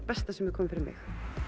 besta sem hefur komið fyrir mig